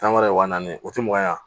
Tan wɛrɛ wa naani o tɛ mugan ye